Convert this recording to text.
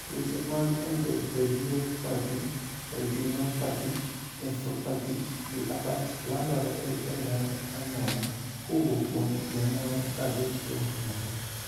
tuoche mag endotheliopathy, retinopathy, nephropathy gi abach landore e remb anyuola kowuok kuom janyuol kadhi kuom nyathi